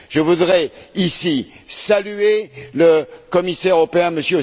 Je voudrais, ici, saluer le commissaire européen, M.